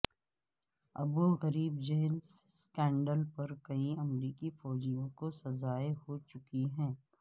ابو Ghraib jail scandal پر کئی امریکی فوجیوں کو سزائیں ہو چکی ہیں